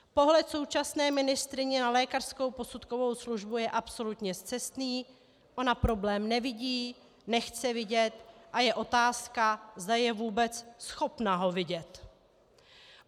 Pohled současné ministryně na lékařskou posudkovou službu je absolutně scestný, ona problém nevidí, nechce vidět a je otázka, zda je vůbec schopna ho vidět.